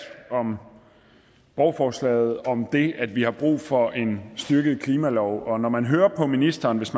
om borgerforslaget og om det at vi har brug for en styrket klimalov når man hører på ministeren hvis